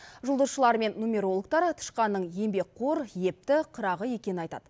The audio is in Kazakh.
жұлдызшылар мен нумерологтар тышқанның еңбекқор епті қырағы екенін айтады